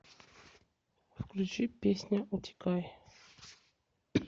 включи песня утекай